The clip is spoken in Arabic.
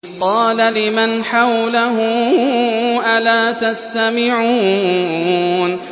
قَالَ لِمَنْ حَوْلَهُ أَلَا تَسْتَمِعُونَ